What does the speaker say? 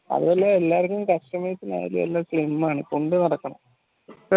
അതുപോലെ എല്ലാർക്കും customers ആയാലും എല്ലാം slim ആണ് കൊണ്ട് നടക്കണം